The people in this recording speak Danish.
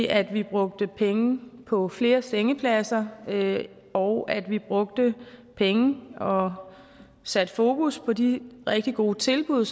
at vi brugte penge på flere sengepladser og at vi brugte penge og satte fokus på de rigtig gode tilbud